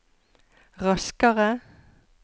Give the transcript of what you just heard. raskere